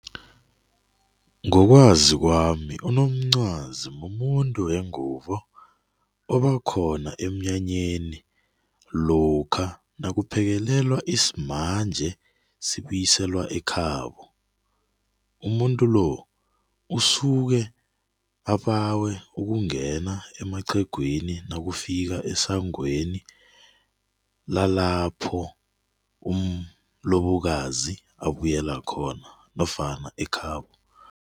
Ngokwazo kwami unomcwazi mumuntu wengubo obakhona emnyanyeni lokha nakuphekelelwa isimanje sikubuyiselwa ekhabo umuntu lo usukwe obawe ukungena emaqhegwini nakufika esangweni lalapho umlobokazi abuyela khona nofana ekhabo.